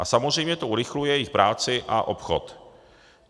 A samozřejmě to urychluje jejich práci a obchod.